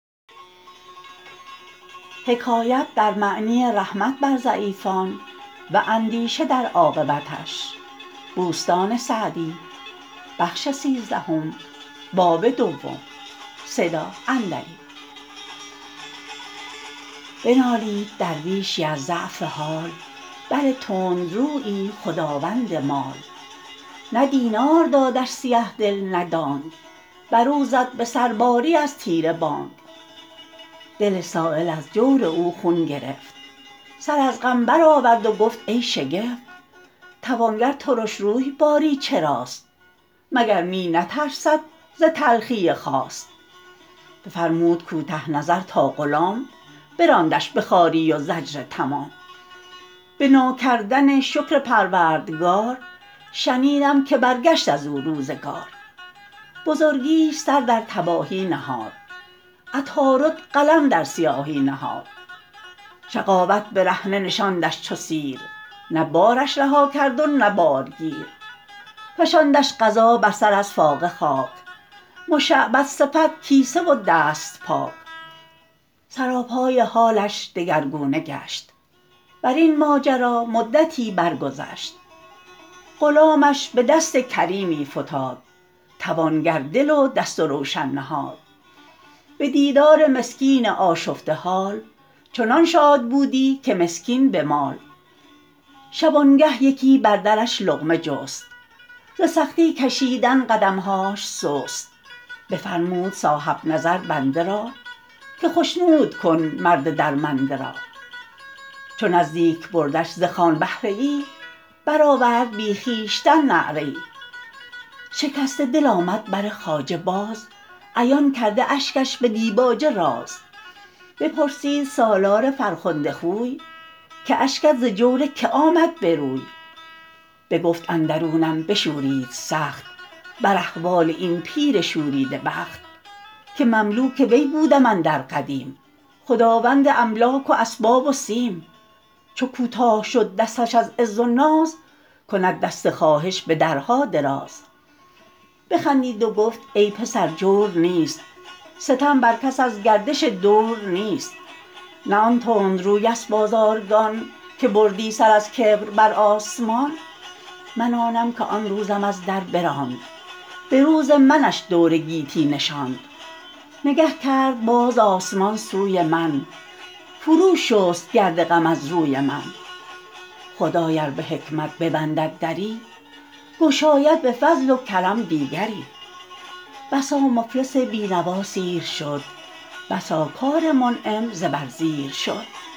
بنالید درویشی از ضعف حال بر تندرویی خداوند مال نه دینار دادش سیه دل نه دانگ بر او زد به سر باری از طیر بانگ دل سایل از جور او خون گرفت سر از غم بر آورد و گفت ای شگفت توانگر ترش روی باری چراست مگر می نترسد ز تلخی خواست بفرمود کوته نظر تا غلام براندش به خواری و زجر تمام به ناکردن شکر پروردگار شنیدم که برگشت از او روزگار بزرگیش سر در تباهی نهاد عطارد قلم در سیاهی نهاد شقاوت برهنه نشاندش چو سیر نه بارش رها کرد و نه بارگیر فشاندش قضا بر سر از فاقه خاک مشعبد صفت کیسه و دست پاک سراپای حالش دگرگونه گشت بر این ماجرا مدتی بر گذشت غلامش به دست کریمی فتاد توانگر دل و دست و روشن نهاد به دیدار مسکین آشفته حال چنان شاد بودی که مسکین به مال شبانگه یکی بر درش لقمه جست ز سختی کشیدن قدمهاش سست بفرمود صاحب نظر بنده را که خشنود کن مرد درمنده را چو نزدیک بردش ز خوان بهره ای برآورد بی خویشتن نعره ای شکسته دل آمد بر خواجه باز عیان کرده اشکش به دیباجه راز بپرسید سالار فرخنده خوی که اشکت ز جور که آمد به روی بگفت اندرونم بشورید سخت بر احوال این پیر شوریده بخت که مملوک وی بودم اندر قدیم خداوند املاک و اسباب و سیم چو کوتاه شد دستش از عز و ناز کند دست خواهش به درها دراز بخندید و گفت ای پسر جور نیست ستم بر کس از گردش دور نیست نه آن تندروی است بازارگان که بردی سر از کبر بر آسمان من آنم که آن روزم از در براند به روز منش دور گیتی نشاند نگه کرد باز آسمان سوی من فرو شست گرد غم از روی من خدای ار به حکمت ببندد دری گشاید به فضل و کرم دیگری بسا مفلس بینوا سیر شد بسا کار منعم زبر زیر شد